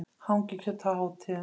Hangikjöt á hátíðum.